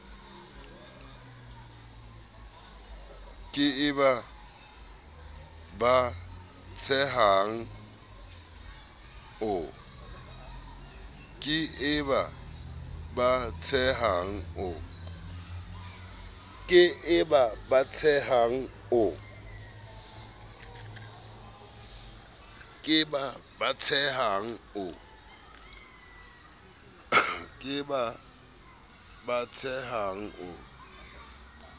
ke e ba batsehang o